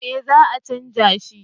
eh za a canja shi